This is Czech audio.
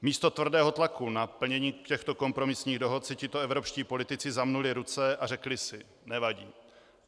Místo tvrdého tlaku na plnění těchto kompromisních dohod si tito evropští politici zamnuli ruce a řekli si: Nevadí.